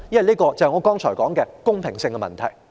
這關乎我剛才所說的公平性問題。